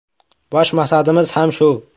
Bosh maqsadimiz ham shu.